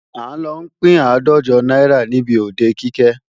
À ń lọ pín àádọ́jọ náírà níbi òde Kike